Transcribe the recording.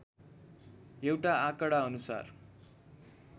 एउटा आँकडाअनुसार